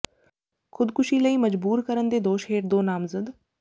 ਖ਼ੁਦਕੁਸ਼ੀ ਲਈ ਮਜਬੂਰ ਕਰਨ ਦੇ ਦੋਸ਼ ਹੇਠ ਦੋ ਨਾਮਜ਼ਦ